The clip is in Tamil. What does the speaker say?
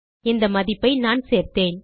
இந்த மதிப்பை நானே சேர்த்தேன்